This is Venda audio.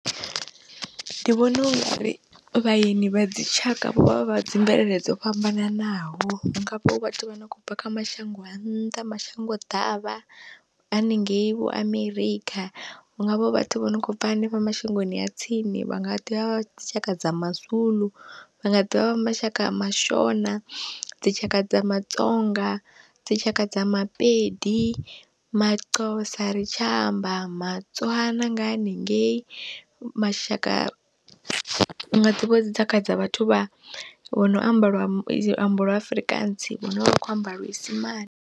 Ndi vhona ungari vhaeni vha dzi tshaka vho vha vha dzi mvelele dzo fhambananaho, hu ngavha vhathu vha no khou bva kha mashango a nnḓa mashango ḓavha haningei vho Amerikha, hu ngavha vho vhathu vho no kho bva hanefha mashangoni a tsini vha nga ḓivha dzi tshaka dza maZulu, vhanga ḓivha ma shaka a mashona, dzi tshaka dza maTsonga, dzi tshaka dza maPedi, maXhosa ari tsha amba maTswana nga haningei, mashaka hunga ḓivha hu dzi tshakha dza vhathu vha vho no amba lwa luambo lwa Afrikaans vhane vha kho amba luisimane.